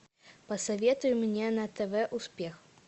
посоветуй мне на тв успех